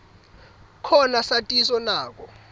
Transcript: khona satiso nako